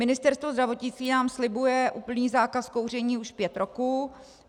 Ministerstvo zdravotnictví nám slibuje úplný zákaz kouření už pět roků.